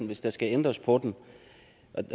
hvis der skal ændres på den